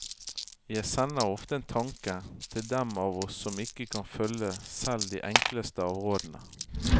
Jeg sender ofte en tanke til dem av oss som ikke kan følge selv de enkleste av rådene.